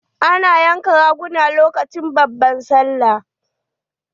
Ana yanka raguna lokacin babbar sallah.